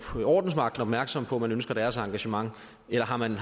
ordensmagten opmærksom på at man ønsker deres engagement eller har man